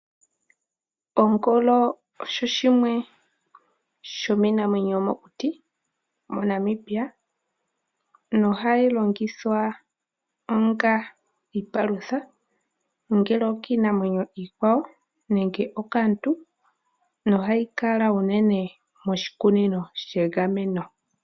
Ongolo oyo yimwe yomiinamwenyo yomokuti mo Namibia. Ohayi longithwa onga Iipalutha ongele okiinamwenyo iikwawo nenge okaantu. Ohayi kala unene moshikunino shegameno.